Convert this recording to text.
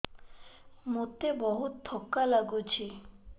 ମୋତେ ବହୁତ୍ ଥକା ଲାଗୁଛି